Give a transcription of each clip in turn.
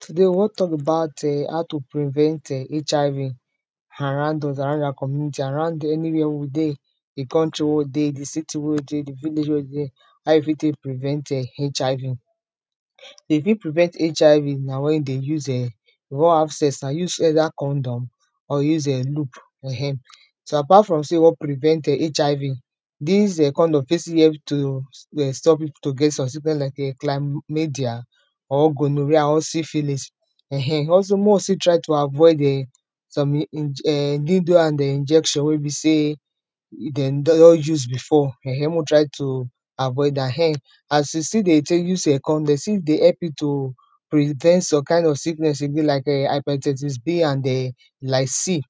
today we wan tok about um how to prevent um HIV around us, around awa community, around any where wey we dey the country wey we dey, the city wey we dey, the village wey we dey how you fit take prevent um HIV. dey fit prevent HIV na when dey use um you wan have sex, and use either condom or you use um loop um so, apart from sey you wan prevent HIV dis um condom fit still help to um stop you to get some sickness like um claymedia or gonorrhea or syphilis um also mek we still try to avoid um some inje um needle and um injection wey be sey dem don your use before ,um mek we try to avoid am, um as you still dey take, use um con he stil dey help pipo to prevent some kind of sickness again like um hepatitis B and um lycil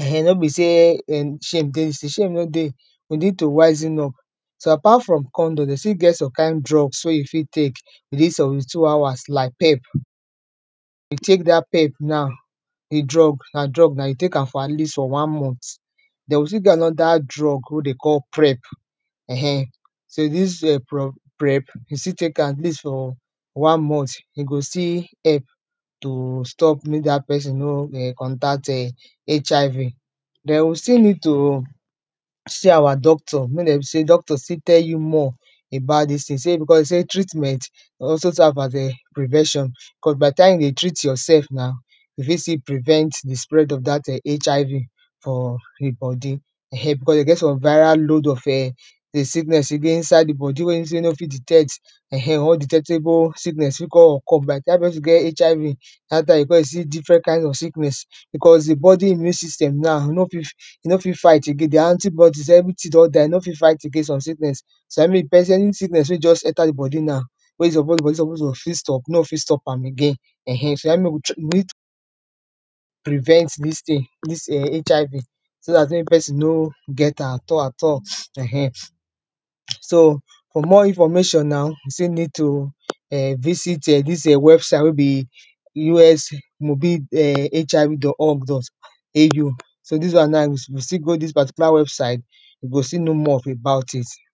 um no be sey um shame dey dis ting, shame no dey we need to wisen up so apart fron condom, den still get some kind drugs wey you fi take he dey reach seventy two hours like pep if you take dat pep now the drug na drug na you take for at least for one month den we still get another drug wey dey call prep um sey dis um pro prep you still take am at least for one month in go still help to stop mek dat person no um contact [um]HIV den, we still need to see awa doctor, mek dem sey doctor fit tell you more about dis ting sey, because sey treatment also serve as um prevention cos by the time you dey treat yoursef na you fit still prevent the spread of dat um HIV for he body um because dem get some viral load of um the sickness in dey inside the body wey be sey you no fit detect um undetectable sickness fit con occur by the time person get HIV dat time you go con see different kind of sickness because the body immune system na no fi no fit fight again. the antibiotics everyting don die, no fit fight again some sickness so na in mek the person any sickness wey just enter the body na wey he suppose body body suppose to fit stop, no fit stop am again [um]so na in mek we need prevent dis ting dis um HIV so dat mek person no get am at all at all, um so for more information now you still need to um visit um dis um website wey be US mobil um HIV dot org dot AU so, dis one na we still go dis particular website you go still know more of about it